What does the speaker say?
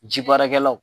Ji baarakɛlaw